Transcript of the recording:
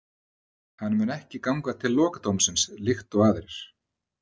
Hann mun ekki ganga til lokadómsins líkt og aðrir.